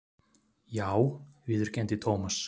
Já viðurkenndi Thomas.